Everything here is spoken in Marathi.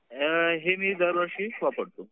हे मी दरवर्षी वापरतो.